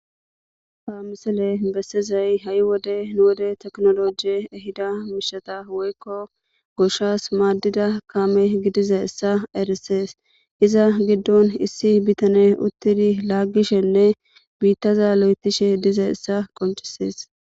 Ha misile besiza ha' wode tekinologe ehida mishata woyko goshas madiza kame gidizaysa erises iza gidon issi bitany utidi lagishenne bitaza lotishe dizaaysa qoncises